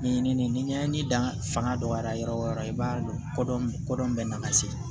Ɲɛɲini ni ɲɛɲini dan fanga dɔgɔyara yɔrɔ o yɔrɔ i b'a dɔn ko dɔn ko dɔn bɛ n'a ka sere